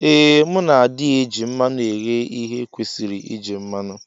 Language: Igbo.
Ee mu na adi eji mmanu eghe ihe ekwesiri iji mmanu.